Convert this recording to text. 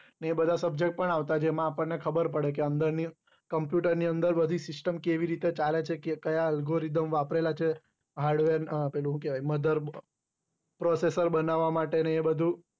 ને એ બધા subject પણ આવતા જેમાં આપણ ને પણ ખબર પડે કે computer ની અંદર બધી SYSTEM કેવી રીતે ચાલે છે કાયા algoritham વાપરેલા છે hardware પેલું હું કેવાય possessive બનાવા માટે ને એ બધું